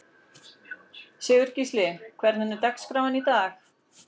Sigurgísli, hvernig er dagskráin í dag?